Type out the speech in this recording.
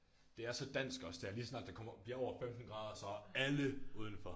Det er så dansk også det er lige så snart det kommer bliver over 15 grader så er alle udenfor